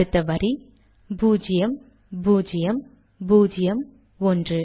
அடுத்த வரி பூஜ்யம் பூஜ்யம் பூஜ்யம் ஒன்று